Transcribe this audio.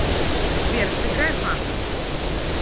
сбер сыграй фанк